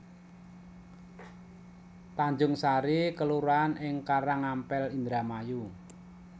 Tanjungsari kelurahan ing Karangampel Indramayu